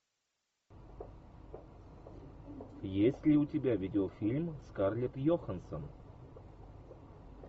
есть ли у тебя видеофильм скарлетт йоханссон